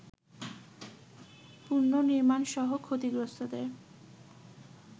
পুনঃনির্মাণসহ ক্ষতিগ্রস্তদের